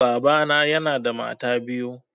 Baba na yana da mata biyu.